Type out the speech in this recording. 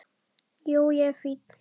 Jú, ég er fínn.